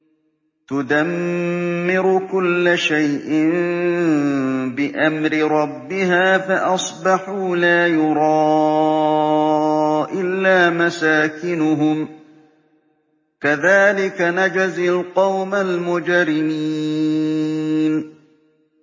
تُدَمِّرُ كُلَّ شَيْءٍ بِأَمْرِ رَبِّهَا فَأَصْبَحُوا لَا يُرَىٰ إِلَّا مَسَاكِنُهُمْ ۚ كَذَٰلِكَ نَجْزِي الْقَوْمَ الْمُجْرِمِينَ